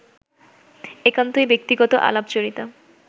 একান্তই ব্যক্তিগত আলাপচারিতা